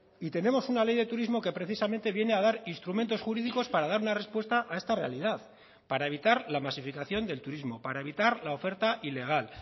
y tenemos una ley de turismo que precisamente viene a dar instrumentos jurídicos para dar una respuesta a esta realidad para evitar la masificación del turismo para evitar la oferta ilegal